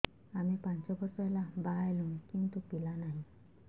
ଆମେ ପାଞ୍ଚ ବର୍ଷ ହେଲା ବାହା ହେଲୁଣି କିନ୍ତୁ ପିଲା ନାହିଁ